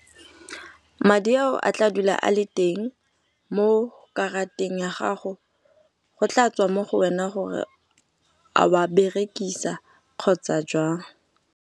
Madi ao a tla dula a le teng mo karateng ya gago. Go tla tswa mo go wena gore a wa berekisa kgotsa jwang.